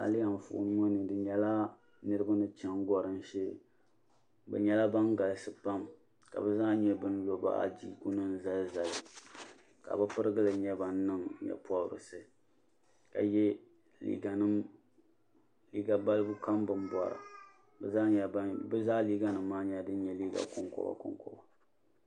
Ayilihi anfooni ŋɔ ni fi nyɛla niriba ni cheni gorim shee b. nyɛla ban galisi pam ka bɛ zaa nyɛ ban lo adiiku nima zali zali ka bɛ pirigili nyɛ ban niŋ nyɛ'pobrisi ka ye liiga nima balibu kam bini bora bɛ zaa liiga nima maa nyɛla din nyɛ liiga konkoba konkoba.